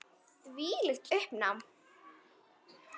Þvílíkt uppnám.